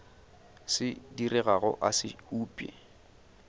se diregago a se upše